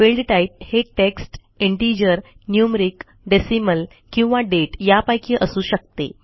field typeहे text integer numeric decimal किंवा date यापैकी असू शकते